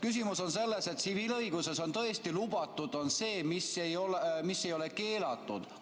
Küsimus on selles, et tsiviilõiguses on tõesti lubatud see, mis ei ole keelatud.